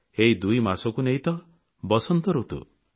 ଏହି ଦୁଇମାସକୁ ନେଇ ତ ବସନ୍ତ ଋତୁ